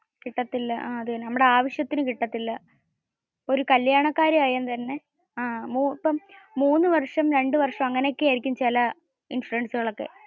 കിട്ടാത്തില്ല. നമ്മുടെ ആവശ്യത്തിന് കിട്ടത്തില്ല. ഒരു കല്യാണ കാര്യം ആയെങ്കിൽ തന്നെ ഇപ്പോ മൂന്ന് വര്ഷം രണ്ടു വര്ഷം എന്നൊക്കെ ആയിരിക്കും ചില ഇൻഷുറൻസുകൾ ഒക്കെ.